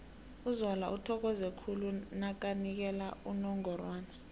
uzola uthokoze khulu nakanikela unongorwana